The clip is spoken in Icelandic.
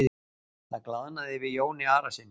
Það glaðnaði yfir Jóni Arasyni.